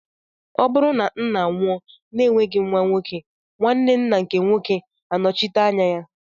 Ọ bụrụ na ńnà nwụọ na enweghị nwa nwoke, nwanne ńnà nke nwoke anochite anya ya.